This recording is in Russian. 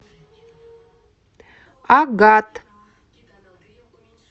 агат